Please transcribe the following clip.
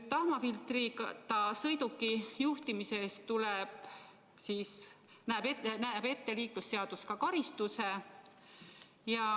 Tahmafiltrita sõiduki juhtimise eest näeb liiklusseadus ette karistuse.